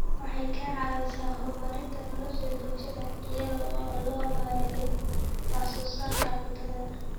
Waxay ka caawisaa horumarinta nolosha bulshada iyada oo loo marayo wax soo saarka cuntada.